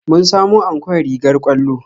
Mun samo ankon rigar ƙwallo